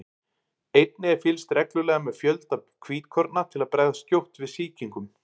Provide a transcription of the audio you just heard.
Einnig er fylgst reglulega með fjölda hvítkorna til að bregðast skjótt við sýkingum.